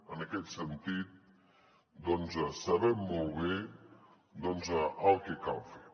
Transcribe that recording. en aquest sentit doncs sabem molt bé el que cal fer